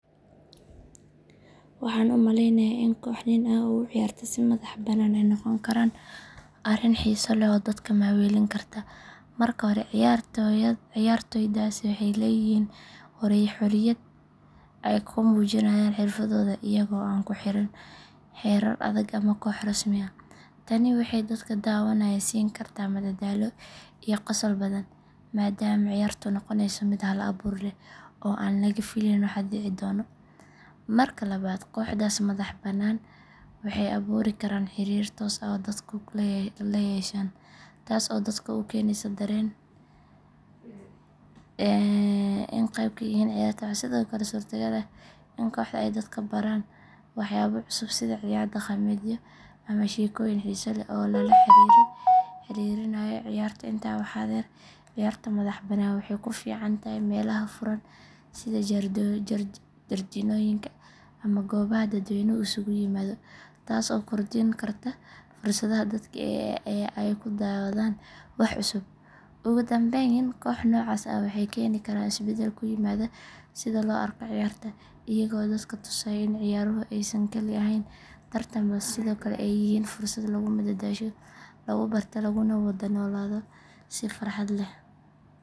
Waxaan u malaynayaa in koox nin ah oo u ciyaarta si madax banaan ay noqon karto arrin xiiso leh oo dadka maaweelin karta. Marka hore, ciyaartoydaasi waxay leeyihiin xoriyad ay ku muujiyaan xirfadooda iyaga oo aan ku xiran xeerar adag ama koox rasmi ah. Tani waxay dadka daawanaya siin kartaa madadaalo iyo qosol badan maadaama ciyaartu noqonayso mid hal abuur leh oo aan laga filayn waxa dhici doona. Marka labaad, kooxdaas madax banaan waxay abuuri karaan xiriir toos ah oo dadku la yeeshaan, taas oo dadka u keenaysa dareen ah in ay qayb ka yihiin ciyaarta. Waxaa sidoo kale suuragal ah in kooxdu ay dadka baraan waxyaabo cusub sida ciyaar dhaqameedyo ama sheekooyin xiiso leh oo lala xiriirinayo ciyaarta. Intaa waxaa dheer, ciyaarta madax bannaan waxay ku fiican tahay meelaha furan sida jardiinooyinka ama goobaha dadweynuhu isugu yimaado, taas oo kordhin karta fursadaha dadka ee ay ku daawadaan wax cusub. Ugu dambayn, koox noocaas ah waxay keeni karaan isbeddel ku yimaada sida loo arko ciyaarta, iyaga oo dadka tusaya in ciyaaruhu aysan kaliya ahayn tartan balse sidoo kale ay yihiin fursad lagu madadaasho, lagu barto, laguna wada noolaado si farxad leh.